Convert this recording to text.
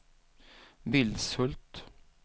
Vilshult